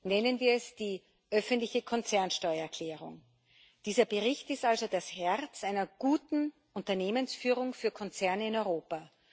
Nennen wir es die öffentliche Konzernsteuerklärung. Dieser Bericht ist also das Herz einer guten Unternehmensführung für Konzerne in Europa.